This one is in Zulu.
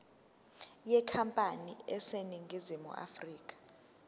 yenkampani eseningizimu afrika